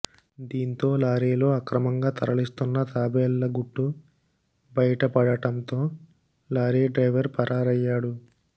దీంతో లారీలో అక్రమంగా తరలిస్తున్న తాబేళ్ల గుట్టు బయటపడటంతో లారీ డ్రైవర్ పరారయ్యాడు